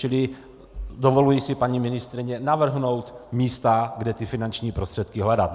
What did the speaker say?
Čili dovoluji si paní ministryni navrhnout místa, kde ty finanční prostředky hledat.